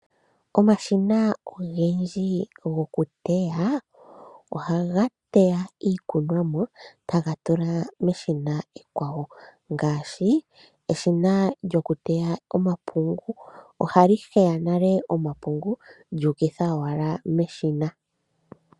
Omashina ogendji gokuteya ohaga yeya iikunomwa taga tula meshina ekwawo, ngaashi edhina lyoteya omapungu ohali heya nale omapungu lyuukitha owala meshina.